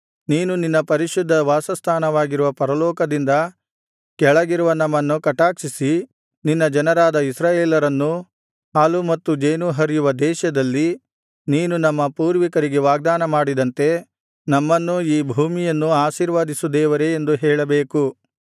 ನೀನು ನಿನ್ನ ಪರಿಶುದ್ಧ ವಾಸಸ್ಥಾನವಾಗಿರುವ ಪರಲೋಕದಿಂದ ಕೆಳಗಿರುವ ನಮ್ಮನ್ನು ಕಟಾಕ್ಷಿಸಿ ನಿನ್ನ ಜನರಾದ ಇಸ್ರಾಯೇಲರನ್ನೂ ಹಾಲೂ ಮತ್ತು ಜೇನೂ ಹರಿಯುವ ದೇಶದಲ್ಲಿ ನೀನು ನಮ್ಮ ಪೂರ್ವಿಕರಿಗೆ ವಾಗ್ದಾನಮಾಡಿದಂತೆ ನಮ್ಮನ್ನು ನೆಲೆಸುವಂತೆ ಮಾಡಿ ನಮ್ಮನ್ನು ಈ ಭೂಮಿಯನ್ನೂ ಆಶೀರ್ವದಿಸು ದೇವರೇ ಎಂದು ಹೇಳಬೇಕು